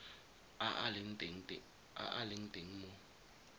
a a leng teng mo